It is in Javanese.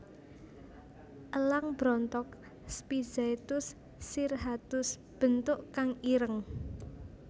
Elang brontok Spizaetus cirrhatus bentuk kang ireng